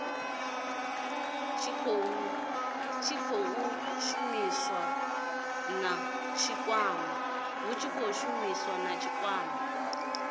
tshi khou shumisaniwa na tshikwama